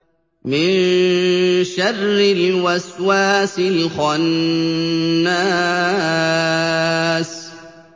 مِن شَرِّ الْوَسْوَاسِ الْخَنَّاسِ